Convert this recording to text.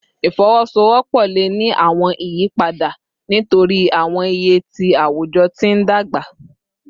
Ifowosowopo le ni awọn iyipada nitori awọn iye ti awujọ ti n dagba